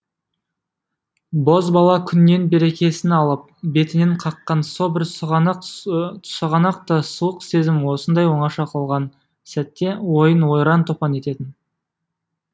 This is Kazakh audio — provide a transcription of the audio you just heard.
бозбала күннен берекесін алып бетінен қаққан со бір сұғанақ та суық сезім осындай оңаша қалған сәтте ойын ойран топан ететін